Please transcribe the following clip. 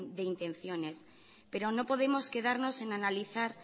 de intenciones pero no podemos quedarnos en analizar